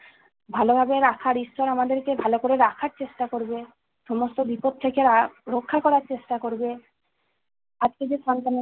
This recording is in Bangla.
ভালোভাবে রাখার, ঈশ্বর আমাদেরকে ভালো করে রাখার চেষ্টা করবে। সমস্ত বিপদ থেকে আর~ রক্ষা করার চেষ্টা করবে। আজকে যে সন্তান-